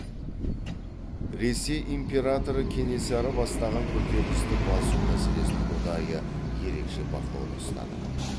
ресей императоры кенесары бастаған көтерілісті басу мәселесін ұдайы ерекше бақылауда ұстады